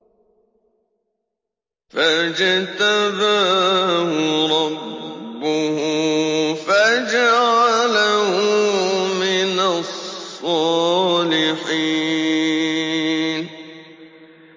فَاجْتَبَاهُ رَبُّهُ فَجَعَلَهُ مِنَ الصَّالِحِينَ